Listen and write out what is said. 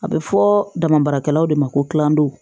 A bɛ fɔ dama baarakɛlaw de ma ko k'an don